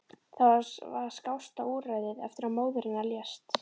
Það var skásta úrræðið eftir að móðir hennar lést.